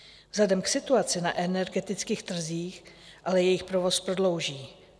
Vzhledem k situaci na energetických trzích ale jejich provoz prodlouží.